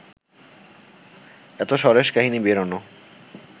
এত সরেস কাহিনি বেরোনো